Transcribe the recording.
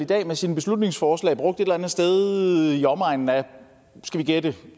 dag med sine beslutningsforslag brugt et eller andet sted i omegnen af skal vi gætte